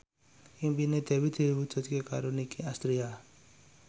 impine Dewi diwujudke karo Nicky Astria